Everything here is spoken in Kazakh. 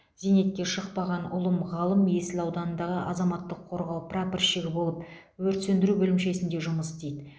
зейнетке шықпаған ұлым ғалым есіл ауданындағы азаматтық қорғау прапорщигі болып өрт сөндіру бөлімшесінде жұмыс істейді